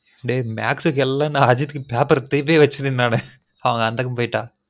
டேய் maths க்கு எல்லான் நான் அஜித்துக்கு paper திருடி வச்சுருந்தன் நானு பாவம் அந்தக்கு போய்ட்டான்